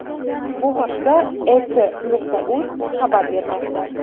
Bu haqda EK.uz xabar bermoqda .